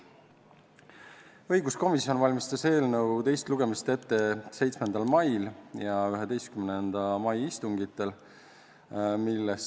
Õiguskomisjon valmistas eelnõu teist lugemist ette 7. mai ja 11. mai istungil.